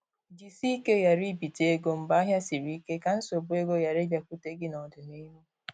Jisike ghara ibite ego mgbe ahịa siri ike, ka nsogbu ego ghara ịbịakwute gị n'ọdịnihu